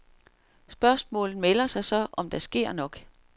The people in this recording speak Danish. Spørgsmålet melder sig så, om der sker nok?